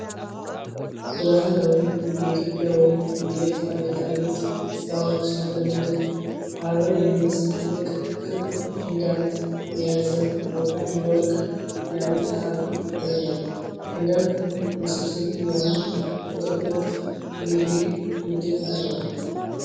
በባህላዊ የኢትዮጵያ ወይም የኤርትራ ጌጣጌጥ ሥራዎች የተለመደ፣ አበባ የሚመስል ትልቅ፣ ክብ ፔንዳንት የያዘ ወፍራም የወርቅ የአንገት ሐብል ይታያል። ፔንዳንቱ ውስብስብ የሆነ የጥልፍልፍ (ፊሊግሪ) ንድፍ አለው።